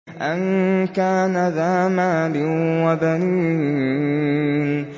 أَن كَانَ ذَا مَالٍ وَبَنِينَ